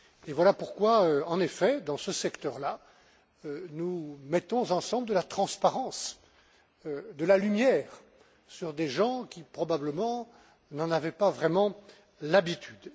Et voilà pourquoi, en effet, dans ce secteur là, nous mettons ensemble de la transparence, de la lumière sur des gens qui, probablement, n'en avaient pas vraiment l'habitude.